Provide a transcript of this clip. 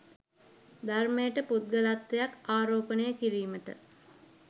ධර්මයට පුද්ගලත්වයක් ආරෝපණය කිරීමට